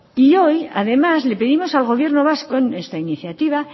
y hoy además le pedimos al gobierno vasco en nuestra iniciativa